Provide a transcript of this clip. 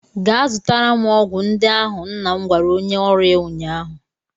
Gaa zụtara m ọgwụ ndị ahụ! nna m gwara onye ọrụ ya ụnyaahụ.